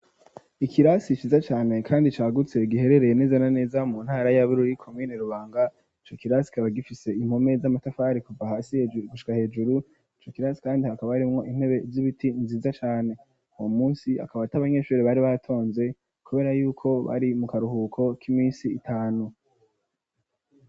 Ikirasi shiza cane kandi cagutse giherereye neza na neza mu ntara ya Bururi komine rubanga ico kirasi kikaba gifise impome z'amatafari kuva hasi gushika hejuru ico kirasi kandi hakaba arimwo intebe ry'ibiti nziza cane wo munsi akabat iabanyeshuri bari batonze kubera yuko bari mu karuhuko k'imisi itanu.